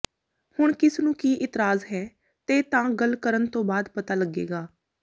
ਹੁਣ ਕਿਸ ਨੂੰ ਕੀ ਇਤਰਾਜ਼ ਹੈ ਤੇ ਤਾਂ ਗੱਲ ਕਰਨ ਤੋਂ ਬਾਅਦ ਪਤਾ ਲੱਗੇਗਾ